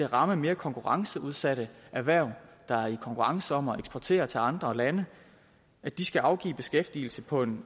ramme mere konkurrenceudsatte erhverv der er i konkurrence om at eksportere til andre lande at de skal afgive beskæftigelse på en